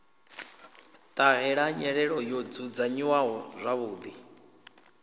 ṱahela nyelelo yo dzudzanyiwaho zwavhuḓi